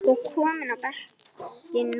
og kominn á bekkinn núna?